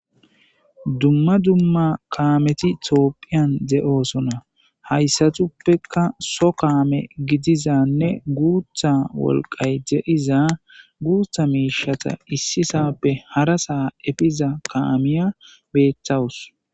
dumma dumma kaameti tophphiyan de'osona hayssatuppekka so kaame gidizanne guutha wolqay de'iza guutha miishata issi sappe hara sa epiza kaamiya beetawus